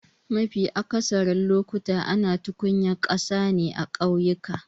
Mafi akatharin lokuta ana tukunyar ƙasa ne a kauyuka.